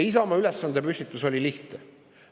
Isamaa ülesandepüstitus oli lihtne.